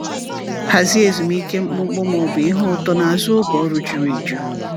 Hazie ezumike mkpụmkpụ ma ọ bụ ihe ụtọ n’azụ oge ọrụ juru eju.